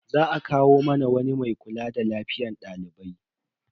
Za a kawo mana wani mai kula da lafiyar dalibai.